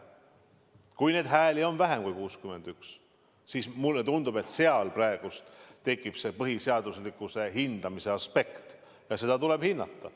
Kui neid hääli on vähem kui 61, siis mulle tundub, et seal tekib see põhiseaduslikkuse hindamise aspekt ja seda tuleb hinnata.